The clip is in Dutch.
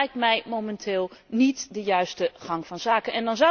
Dat lijkt mij momenteel niet de juiste gang van zaken.